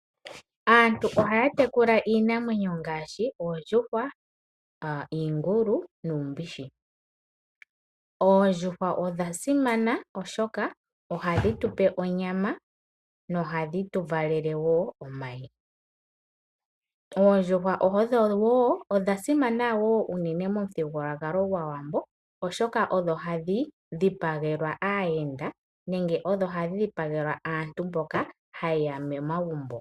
Aantu ohaya tekula iinamwenyo ngashi oondjuhwa, iingulu nuumbishi. Oondjuhwa odha simana oshoka ohadhi tupe onyama nohadhi tu valele wo omayi. Oondjuhwa odha simana wo unene momuthigululwakalo gwAawambo oshoka odho hadhi dhipagelwa aayenda nenge odho hadhi dhipagelwa aantu mboka haye ya momagumbo.